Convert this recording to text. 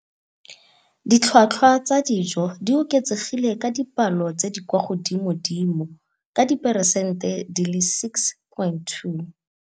Ditlhotlhwa tsa dijo di oketsegile ka dipalo tse di kwa godimodimo ka diperesente di le 6.2.